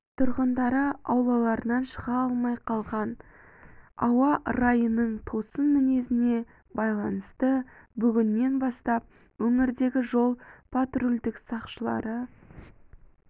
тұрғындары аулаларынан шыға алмай қалған ауа райының тосын мінезіне байланысты бүгіннен бастап өңірдегі жол-патрульдік сақшылары